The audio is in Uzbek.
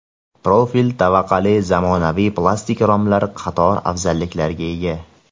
Profil tavaqali zamonaviy plastik romlar qator afzalliklarga ega.